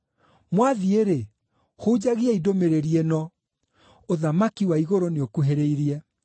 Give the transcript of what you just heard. Mwathiĩ-rĩ, hunjagiai ndũmĩrĩri ĩno: ‘Ũthamaki wa igũrũ nĩũkuhĩrĩirie.’